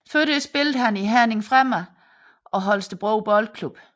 Før det spillede han i Herning Fremad og Holstebro Boldklub